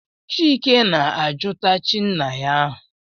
Chike na-ajụta chi nna ya ahụ.